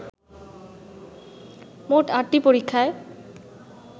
মোট আটটি পরীক্ষায়